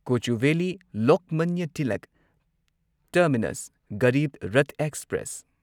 Kochuveli Lokmanya Tilak terminus Garib Rath express